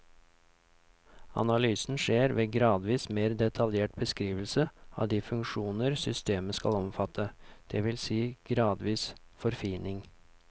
Analysen skjer ved gradvis mer detaljert beskrivelse av de funksjoner systemet skal omfatte, det vil si gradvis forfining.